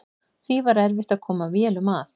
Því var erfitt að koma vélum að.